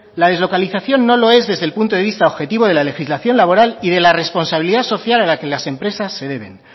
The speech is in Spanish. la deslocalización no lo es desde el punto de visto objetivo de la legislación laboral y de la responsabilidad social a la que las empresas se deben